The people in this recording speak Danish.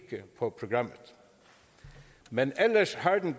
på programmet men ellers har den